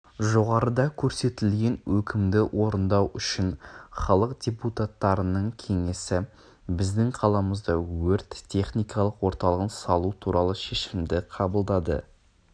жоғарыда көрсетілген өкімді орындау үшін халық депутаттарының кеңесі біздің қаламызда өрт-техникалық орталығын салу туралы шешімді қабылдады